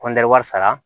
kɔntan sara